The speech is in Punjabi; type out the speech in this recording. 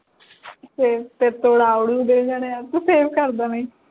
ਫੇਰ ਫੇਰ ਤੂੰ ਅਡ ਦੇਣ ਜਾਣੇ ਆ ਤੂੰ ਕਰ ਦੇਣੇ ਹੀ